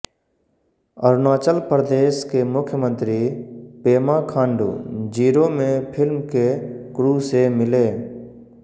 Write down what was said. अरुणाचल प्रदेश के मुख्यमंत्री पेमा खांडू ज़िरो में फिल्म के क्रू से मिले